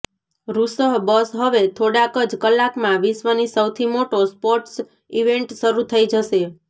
રૂસઃ બસ હવે થોડાક જ કલાકમાં વિશ્વની સૌથી મોટો સ્પોર્ટ્સ ઇવેન્ટ શરૂ થઇ જશે